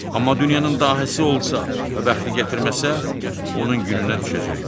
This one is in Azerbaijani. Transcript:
Amma dünyanın dahisi olsa və bəxti gətirməsə, onun gününə düşəcəkdir.